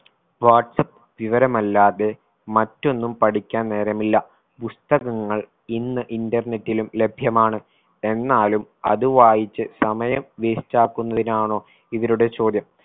WhatsApp വിവരമല്ലാതെ മറ്റൊന്നും പഠിക്കാൻ നേരമില്ല പുസ്തകങ്ങൾ ഇന്ന് internet ലും ലഭ്യമാണ് എന്നാലും അത് വായിച്ച് സമയം waste ആക്കുന്നതിനാണോ ഇവരുടെ ചോദ്യം